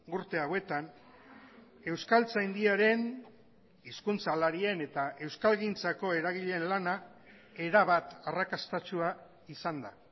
urte hauetan euskaltzaindiaren hizkuntzalarien eta euskalgintzako eragileen lana erabat arrakastatsua izan da